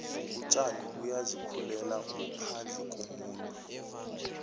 utjani buyazi khulela ngophandle kumuntu